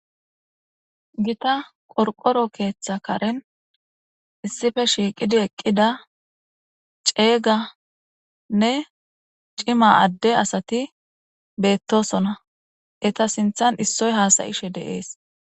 gita qorqoro keeththa karen issippe shiiqidi eqqida ceeganne cima adde asati beettosona eta sinthan issoy haasayishe de'es.